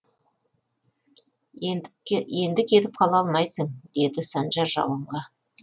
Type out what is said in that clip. енді кетіп қала алмайсың деді санжар рауанға